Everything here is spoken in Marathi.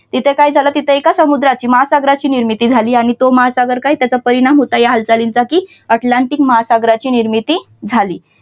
तिथे काय झालं तिथे एका समुद्राची महासागराची निर्मिती झाली आणि तो महासागर का त्याचा परिणाम होता या हालचालींसाठी अटलांटिक महासागराची निर्मिती झाली.